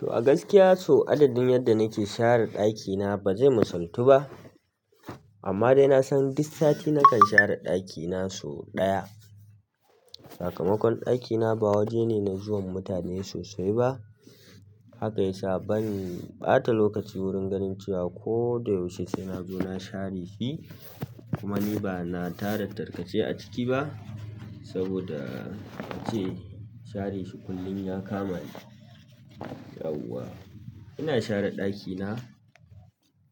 To a gaskiya sau adadin yadda nake share ɗakina ba zai misaltu ba. Amma dai nasan duk sati nakan share ɗakina sau ɗaya sakamakon ɗakina ba waje ne na zuwan mutane sosai ba. Haka ya sa ban ɓata lokaci wurin ganin cewa ko da yaushe saina zo na share shi. Kuma ni bana tara tarkace a ciki ba saboda ace share shi kullum ya kama ni. Yauwa ina share ɗakina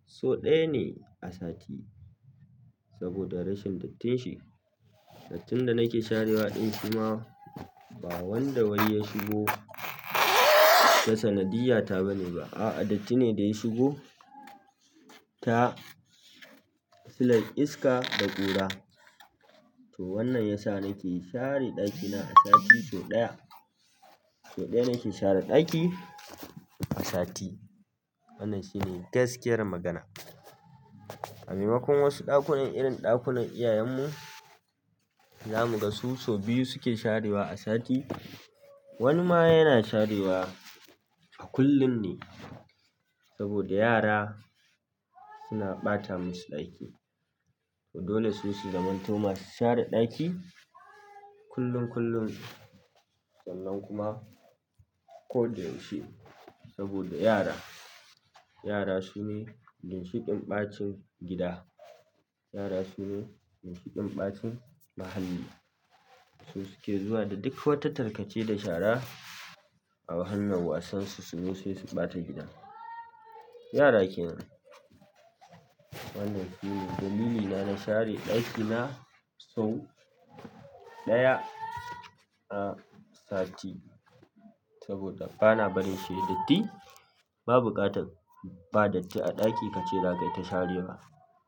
sau ɗaya ne a sati saboda rashin dattin shi. Dattin da nake sharewa ɗin shima ba wanda wai ya shigo ta sanadiyya ta bane ba. A'a, datti ne da ya shigo ta silar iska da ƙura. To wannan ya sa nake share ɗakina a sati sau ɗaya. Sau ɗaya nake share ɗaki a sati. Wannan shine gaskiyar magana. A maimakon wasu ɗakunan irin ɗakunan iyayenmu za mu ga su sau biyu suke sharewa a sati. Wani ma yana sharewa a kullum ne saboda yara suna ɓata masu ɗaki. To dole su su zamanto masu share ɗaki kullum kullum, sallan kuma ko da yaushe saboda yara, yara su ne ginshiƙin ɓacin gida. Yara su ne ginshiƙin ɓacin muhalli. Su suke zuwa da duk wata tarkace da shara a fannin wasan su su zo sai su ɓata gida. Yara ke nan. Wannan shine dalilina na share ɗakina sau ɗaya a sati saboda bana barin shi ya datti. Ba buƙatar ba datti a ɗaki kace za ka iya ka sharewa.